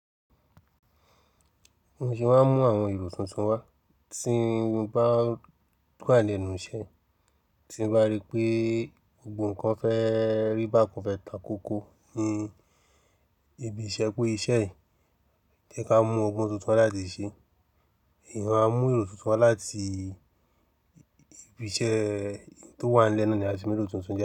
Mo sì máa ń mú àwọn èrò tuntun wá tí ń bá wà lẹ́nu iṣẹ́, tí ń bá rí pé gbogbo kan fẹ́ rí bá kan fẹ́ takókó, ni ibi ìṣẹ́ pé iṣẹ́ yìí jẹ́ ká mú ogbón tuntun láti ṣe, ìwọ a mú èrò tuntun wá láti ibi iṣẹ́ tó wà lẹ́ na ni a ti mero tuntun jẹ́.